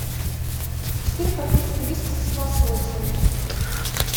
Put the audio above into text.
четыре пакетика вискаса с лососем